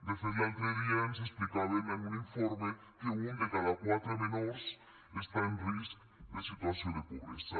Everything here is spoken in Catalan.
de fet l’altre dia ens explicaven en un informe que un de cada quatre menors està en risc de situació de pobresa